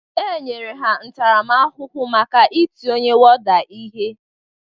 E nyere ha ntarama ahụhụ maka ịtị ọnye wọda ihe